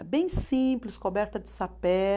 É bem simples, coberta de sapé.